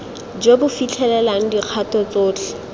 jo bo fitlhelelang dikgato tsotlhe